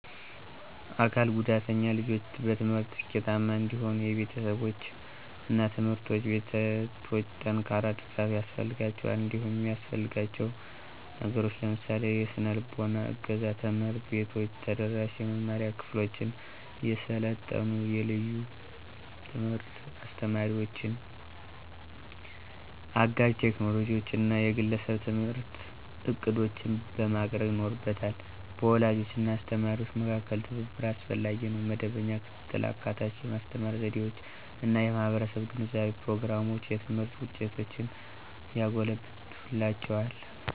አካል ጉዳተኛ ልጆች በትምህርት ስኬታማ እንዲሆኑ የቤተሰቦች እና ትምህርት ቤቶች ጠንካራ ድጋፍ ያስፈልጋቸዋል። እንዲሁም የሚያሰፍልጋችው ነገሮችን ለምሳሌ -; የሰነልቦና እገዛ፣ ትምህርት ቤቶች ተደራሽ የመማሪያ ክፍሎችን፣ የሰለጠኑ የልዩ ትምህርት አስተማሪዎችን፣ አጋዥ ቴክኖሎጂዎችን እና የግለሰብ የትምህርት ዕቅዶችን ማቅረብ ይኖርበታ። በወላጆች እና በአስተማሪዎች መካከል ትብብር አስፈላጊ ነው. መደበኛ ክትትል፣ አካታች የማስተማር ዘዴዎች እና የማህበረሰብ ግንዛቤ ፕሮግራሞች የትምህርት ውጤቶችን ያጎለብትላቸዋል።